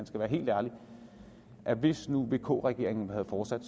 skal være helt ærlig at hvis nu vk regeringen havde fortsat